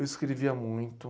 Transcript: Eu escrevia muito.